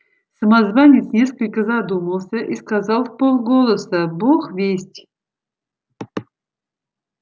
самозванец несколько задумался и сказал вполголоса бог весть